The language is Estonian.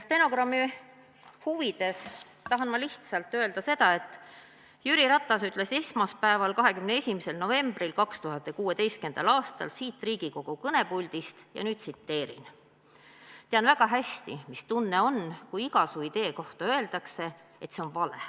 Stenogrammi huvides tahan ma lihtsalt öelda seda, et Jüri Ratas ütles esmaspäeval, 21. novembril 2016. aastal siit Riigikogu kõnepuldist: "Tean väga hästi, mis tunne on, kui iga su idee kohta öeldakse, et see on vale.